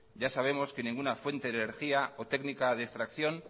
ya sabemos que ninguna fuente de energía o técnica de extracción